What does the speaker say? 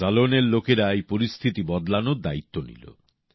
জালোনের লোকেরা এই পরিস্থিতি বদলানোর দায়িত্ব নিল